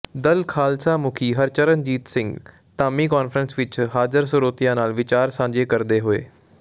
ਦਲ ਖਾਲਸਾ ਮੁੱਖੀ ਹਰਚਰਨਜੀਤ ਸਿੰਘ ਧਾਮੀ ਕਾਨਫਰੰਸ ਵਿੱਚ ਹਾਜਰ ਸਰੋਤਿਆਂ ਨਾਲ ਵਿਚਾਰ ਸਾਂਝੇ ਕਰਦੇ ਹੋਏ